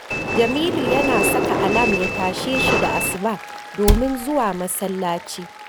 Jamilu yana saka alam ya tashe shi da asuba domin zuwa masallaci